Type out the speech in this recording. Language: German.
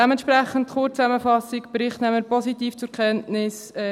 Dementsprechend die Kurzzusammenfassung: Den Bericht nehmen wir positiv zur Kenntnis.